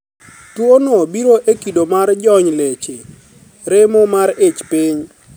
Tuo no biro e kido mar jony leche, remo mar ich piny,